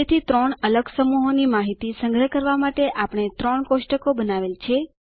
તેથી ત્રણ અલગ સમૂહોની માહિતી સંગ્રહ કરવા માટે આપણે ત્રણ કોષ્ટકો બનાવેલ છે